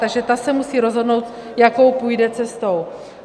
Takže ta se musí rozhodnout, jakou půjde cestou.